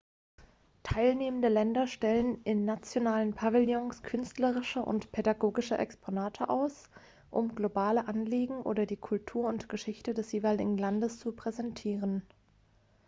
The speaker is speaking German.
teilnehmende länder stellen in nationalen pavillons künstlerische und pädagogische exponate aus um globale anliegen oder die kultur und geschichte des jeweiligen landes zu präsentieren